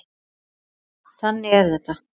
Þannig er þetta.